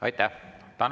Aitäh!